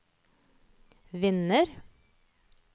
vinner